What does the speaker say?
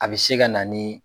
A bɛ se ka na ni